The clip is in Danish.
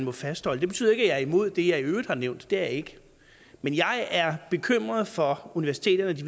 at fastholde det betyder ikke at jeg er imod det jeg i øvrigt har nævnt det er jeg ikke men jeg er bekymret for universiteternes